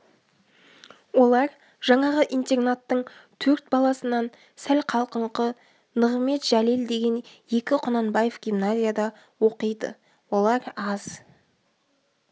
олар жаңағы интернаттың төрт баласынан сәл қалқыңқы нығымет жәлел деген екі құнанбаев гимназияда оқиды олар аз